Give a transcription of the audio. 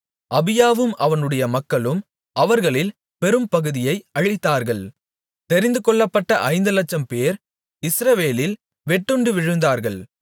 அபியாவும் அவனுடைய மக்களும் அவர்களில் பெரும்பகுதியை அழித்தார்கள் தெரிந்துகொள்ளப்பட்ட ஐந்துலட்சம்பேர் இஸ்ரவேலில் வெட்டுண்டு விழுந்தார்கள்